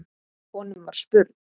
Honum var spurn.